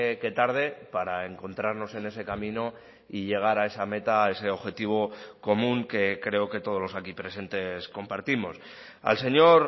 que tarde para encontrarnos en ese camino y llegar a esa meta a ese objetivo común que creo que todos los aquí presentes compartimos al señor